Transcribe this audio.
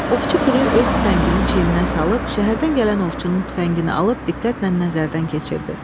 Ovçu piri öz tüfəngini çiyninə salıb, şəhərdən gələn ovçunun tüfəngini alıb diqqətlə nəzərdən keçirdi.